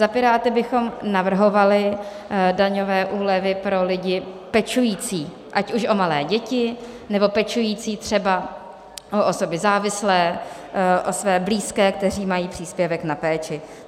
Za Piráty bychom navrhovali daňové úlevy pro lidi pečující ať už o malé děti, nebo pečující třeba o osoby závislé, o své blízké, kteří mají příspěvek na péči.